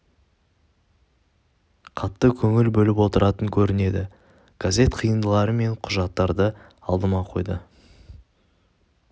қатты көңіл бөліп отыратын көрінеді газет қиындылары мен құжаттарды алдыма қойды